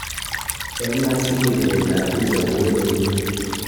"Eng asili piret ab picha ko weleli."